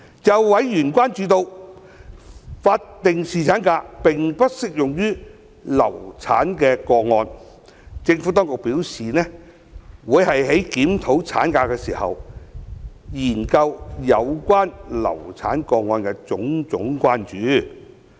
就委員關注到，法定侍產假並不適用於流產個案，政府當局表示，會在檢討產假時，研究有關流產個案的種種關注。